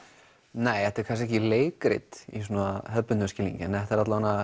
nei þetta er kannski ekki leikrit í svona hefðbundnum skilningi þetta er